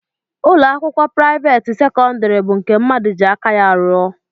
Ụlọakwụkwọ priavaate sekondari bụ nke mmadụ ji aka ya rụọ.